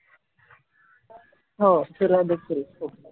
हो तुला बी best of luck